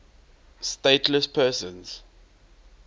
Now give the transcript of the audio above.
stateless persons